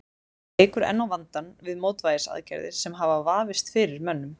Þetta eykur enn á vandann við mótvægisaðgerðir sem hafa vafist fyrir mönnum.